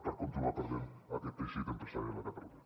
per continuar perdent aquest teixit empresarial a catalunya